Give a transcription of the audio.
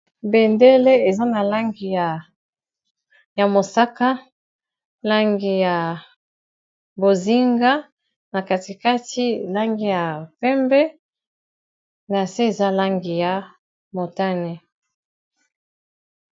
Bendele, eza na langi ya mosaka, langi ya bozinga, na katikati langi ya pembe, na se eza langi ya motane.